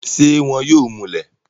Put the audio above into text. ṣé wọn yóò múlẹ̀?